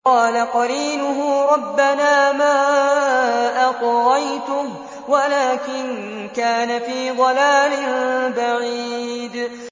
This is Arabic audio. ۞ قَالَ قَرِينُهُ رَبَّنَا مَا أَطْغَيْتُهُ وَلَٰكِن كَانَ فِي ضَلَالٍ بَعِيدٍ